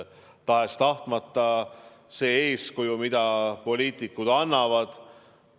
Tahes-tahtmata siin on see eeskuju, mida poliitikud annavad.